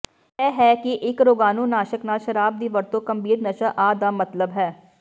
ਇਹ ਹੈ ਕਿ ਇੱਕ ਰੋਗਾਣੂਨਾਸ਼ਕ ਨਾਲ ਸ਼ਰਾਬ ਦੀ ਵਰਤੋ ਗੰਭੀਰ ਨਸ਼ਾ ਆ ਦਾ ਮਤਲਬ ਹੈ